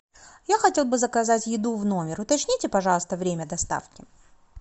я хотел бы заказать еду в номер уточните пожалуйста время доставки